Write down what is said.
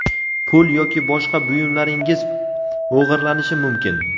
Pul yoki boshqa buyumlaringiz o‘g‘irlanishi mumkin.